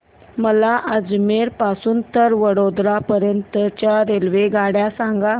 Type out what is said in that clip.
मला अजमेर पासून तर वडोदरा पर्यंत च्या रेल्वेगाड्या सांगा